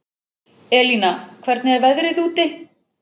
Elína, hvernig er veðrið úti?